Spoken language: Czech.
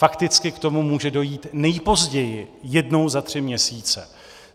Fakticky k tomu může dojít nejpozději jednou za tři měsíce.